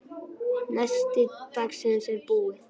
Nesti dagsins er búið.